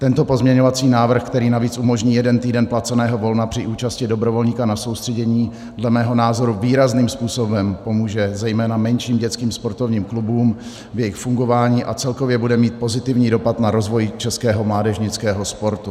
Tento pozměňovací návrh, který navíc umožní jeden týden placeného volna při účasti dobrovolníka na soustředění, dle mého názoru výrazným způsobem pomůže zejména menším dětským sportovním klubům v jejich fungování a celkově bude mít pozitivní dopad na rozvoj českého mládežnického sportu.